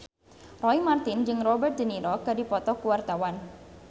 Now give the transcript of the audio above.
Roy Marten jeung Robert de Niro keur dipoto ku wartawan